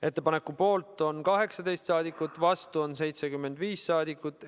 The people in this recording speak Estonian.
Ettepaneku poolt on 18 saadikut, vastu on 75 saadikut.